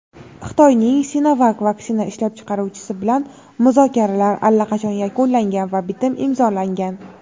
Xitoyning "Sinovak" vaksina ishlab chiqaruvchisi bilan muzokaralar allaqachon yakunlangan va bitim imzolangan.